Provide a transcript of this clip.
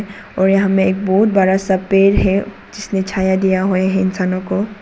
और यहां में एक बहुत बड़ा पेड़ है जिसने छाया दिया है इंसानों को।